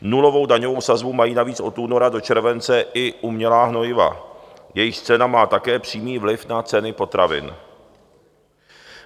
Nulovou daňovou sazbu mají navíc od února do července i umělá hnojiva, jejichž cena má také přímý vliv na ceny potravin.